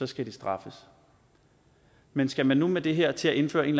skal de straffes men skal man nu med det her til at indføre en